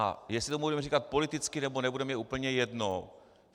A jestli tomu budeme říkat politický, nebo nebudeme, je úplně jedno.